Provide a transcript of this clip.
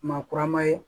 Maa kurama ye